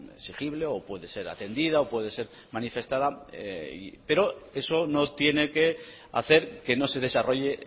exigible o puede ser atendida o puede ser manifestada pero eso no tiene que hacer que no se desarrolle